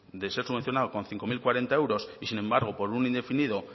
de ser subvencionado con cinco mil cuarenta euros y sin embargo por un indefinido